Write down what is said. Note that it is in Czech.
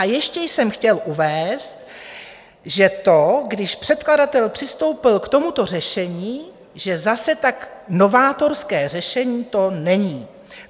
A ještě jsem chtěl uvést, že to, když předkladatel přistoupil k tomuto řešení, že zase tak novátorské řešení to není.